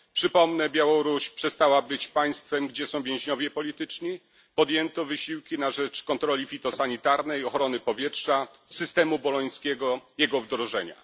Przypomnę Białoruś przestała być państwem, gdzie są więźniowie polityczni, podjęto wysiłki na rzecz kontroli fitosanitarnej, ochrony powietrza, systemu bolońskiego, jego wdrożenia.